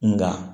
Nka